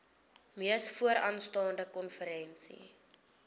mees vooraanstaande konferensie